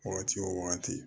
Wagati wo wagati